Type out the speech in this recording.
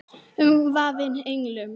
Umvafin englum.